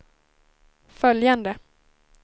följande